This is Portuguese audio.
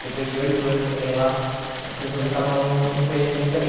Depois de oito anos também lá, as pessoas acabam me conhecendo também.